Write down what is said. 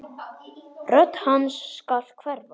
Rödd hans skal hverfa.